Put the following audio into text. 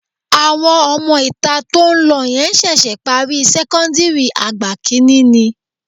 Àwọn ọmọ-ìta tó ń lọ yẹn ṣẹ̀ṣẹ̀ parí sẹ́kọ́ńdìrì àgbà kìíní ni